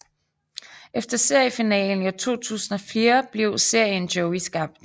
Efter seriefinalen i 2004 blev serien Joey skabt